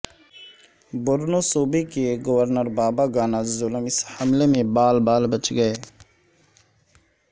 بورنو صوبے کے governor Babagana Zulum اس حملے میں بال بال بچ گئے